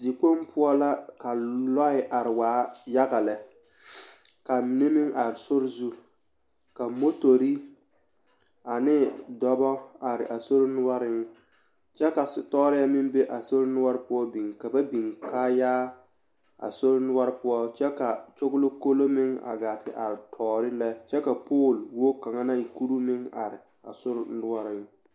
Dikpoŋ poɔ la ka lɔɛ are waa yaga lɛ k'a mine meŋ are sori zu ka motori ane dɔbɔ are a sori noɔreŋ kyɛ ka setɔɔrɛɛ meŋ be a sori noɔre biŋ ka ba biŋ kaayaa a sori noɔre poɔ kyɛ ka kyogilikoloo meŋ gaa te are tɔɔre lɛ kyɛ ka pooli wogi kaŋa naŋ e kuruu meŋ are